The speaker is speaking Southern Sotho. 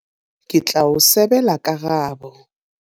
Ke tla o sebela karabo.